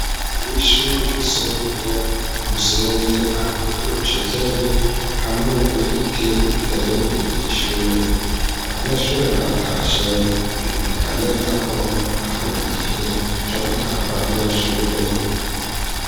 Imbere y'ishure ryisumbuye umusenyi amabuye y'urucekeri hamwe n'igiti giteye imbere y'ishuri abanyeshure baratashe biboneka neza ko hari mu gihe co gutaha kw'abanyeshuri.